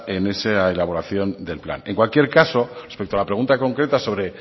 en esa elaboración del plan en cualquier caso respecto a la pregunta concreta sobre